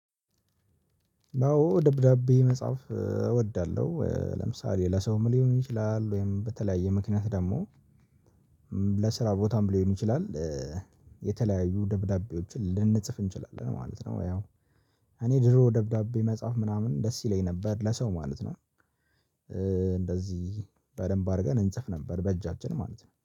አዎ ደብዳቤ መጽሐፍ እወዳለሁ ለምሳሌ ለሰውም ሊሆን ይችላል ወይም በተለያየ ምክንያት ደግሞ ለስራ ቦታም ሊሆን ይችላል የተለያዩ ደብዳቤዎችን ልንጽፍ እንችላለን ማለት ነው። እኔ ድሮ ደብዳቤ መጻፍ ምናምን ደስ ይለኝ ነበር ለሰው ማለት ነው። እንደዚህ በደንብ አድርገን እንጽፍ ነበር በእጃችን ማለት ነው